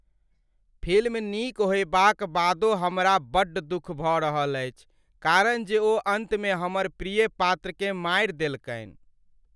Film नीक होएबाक बादो हमरा बड्ड दुख भऽ रहल अछि कारण जे ओ अन्तमे हमर प्रिय पात्र केँ मारि देलकनि ।